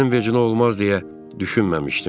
Sənin vecinə olmaz deyə düşünməmişdim.